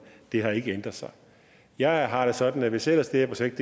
det har ikke ændret sig jeg har det sådan at hvis ellers det her projekt